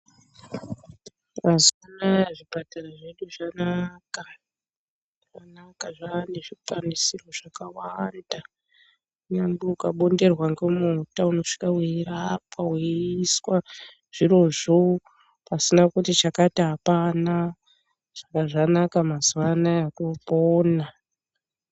Mazuwa anaya, zvipatara zvedu zvanaka. Zvanaka zvane zvikwanisiro zvakawanda. Kunyange ukabonderwa ngemota, unosvika weirapwa weiiswa zvirozvo pasina kuti chakati apana. Saka zvanaka mazuwa anayaya topona.